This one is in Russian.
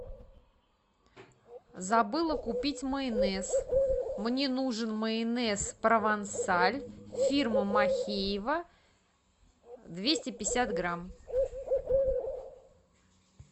забыла купить майонез мне нужен майонез провансаль фирмы махеева двести пятьдесят грамм